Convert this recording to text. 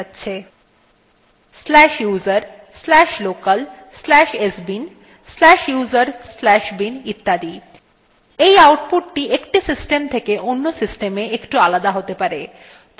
এই আউটপুট একটি system থেকে অন্য systemএ একটু আলাদা হতে পারে